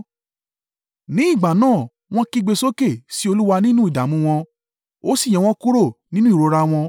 Ní ìgbà náà, wọ́n kígbe sókè sí Olúwa nínú ìdààmú wọn, ó sì yọ wọ́n kúrò nínú ìrora wọn